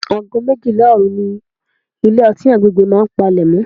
Ago méjìlá òru ni ilé-ọtí àgbègbè mi máa ń palemo.